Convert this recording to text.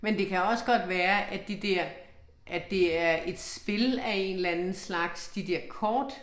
Men det kan også godt være, at de der, at det er et spil af en eller anden slags, de der kort